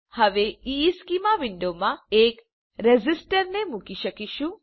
હવે આપણે ઇશ્ચેમાં વિન્ડોમાં એક રેઝિસ્ટરને મુકીશું